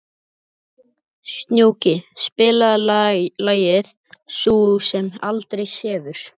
Snjóki, spilaðu lagið „Sú sem aldrei sefur“.